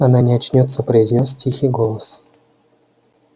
она не очнётся произнёс тихий голос